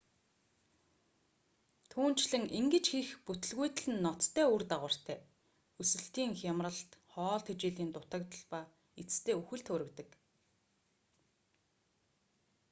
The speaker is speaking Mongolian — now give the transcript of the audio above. түүнчлэн ингэж хийх бүтэлгүйтэл нь ноцтой үр дагавартай өсөлтийн хямралт хоол тэжээлийн дутагдал ба эцэстээ үхэлд хүргэдэг